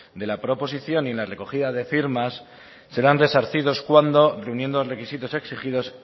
de la proposición y en la recogida de firmas serán resarcidos cuando reuniendo los requisitos exigidos